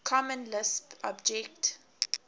common lisp object